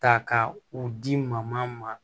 Ta ka u di ma ma